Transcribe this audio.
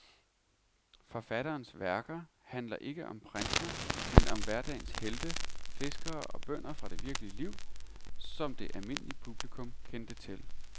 Forfatterens værker handler ikke om prinser, men om hverdagens helte, fiskere og bønder fra det virkelige liv, som det almindelige publikum kendte til.